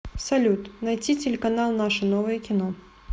салют найти телеканал наше новое кино